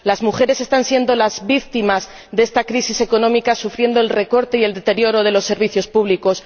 Las mujeres están siendo las víctimas de esta crisis económica, sufriendo el recorte y el deterioro de los servicios públicos.